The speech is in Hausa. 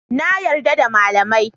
Na yarda da malamai